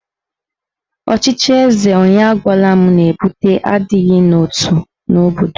Ọchịchị eze onye agwala m na-ebute adịghị n'otu n'obodo.